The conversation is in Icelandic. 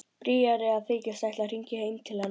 Bríarí að þykjast ætla að hringja heim til hennar.